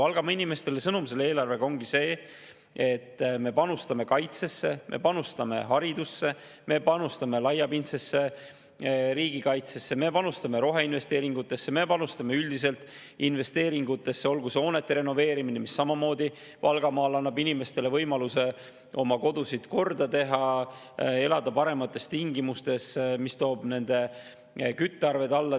Sõnum Valgamaa inimestele ongi selle eelarvega see, et me panustame kaitsesse, me panustame haridusse, me panustame laiapindsesse riigikaitsesse, me panustame roheinvesteeringutesse, me panustame üldiselt investeeringutesse, hoonete renoveerimisse, mis annab Valgamaal samamoodi inimestele võimaluse oma kodusid korda teha, elada paremates tingimustes ja mis toob nende küttearved alla.